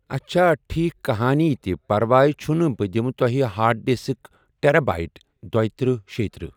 اچھا ٹھیٖک کٕہٲنۍ تہِ پرواے چُھنہٕ بہٕ دِمہٕ تۄہہِ ہاڑ ڈِسک ٹیرا بایٹ دۄیہِ ترٕٛہ شێیہِ ترٕٛہ۔